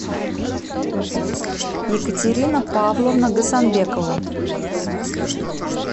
екатерина павловна гасанбекова